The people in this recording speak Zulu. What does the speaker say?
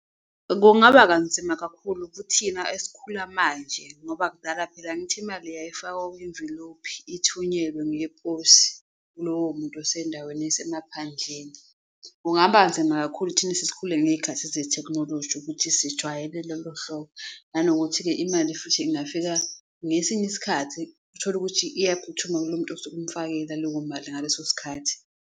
Kungaba kanzima kakhulu kuthina esikhula manje ngoba kudala phela angithi, imali yayifakwa kwimvilophi ithunyelwe ngeposi kulowo muntu esendaweni yasemaphandleni. Kungaba nzima kakhulu thina esesikhule ngey'khathi zethekhinoloji ukuthi sijwayele lolo hlobo, nanokuthi-ke imali futhi ingafika ngesinye isikhathi, utholukuthi iyakuphuthuma kulo muntu osuke umfakela leyo mali ngaleso sikhathi.